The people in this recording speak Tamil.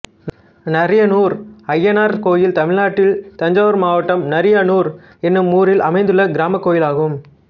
நரியனூர் அய்யனார் கோயில் தமிழ்நாட்டில் தஞ்சாவூர் மாவட்டம் நரியனூர் என்னும் ஊரில் அமைந்துள்ள கிராமக் கோயிலாகும்